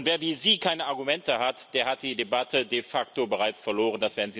Und wer wie Sie keine Argumente hat, der hat die Debatte de facto bereits verloren.